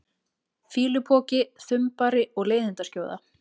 fýlupoki, þumbari og leiðindaskjóða?